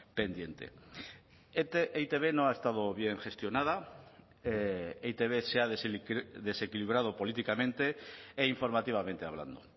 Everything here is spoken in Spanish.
pendiente e i te be no ha estado bien gestionada e i te be se ha desequilibrado políticamente e informativamente hablando